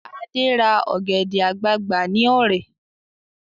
Ade ra ọ̀gẹ̀dẹ̀ àgbagbà ní Ọ̀rẹ̀